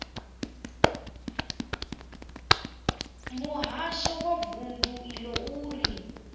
muhasho wa vundu iḽo uri